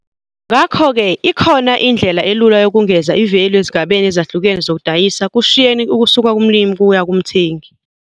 Ngakho ke ikhona indlela elula yokungeza i-value ezigabeni ezahlukene zokudayisa kusheyini ukusuka kumlimi kuya kumthengi.